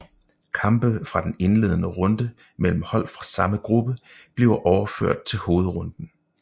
Kampe fra den indledende runde mellem hold fra samme gruppe bliver overført til hovedrunden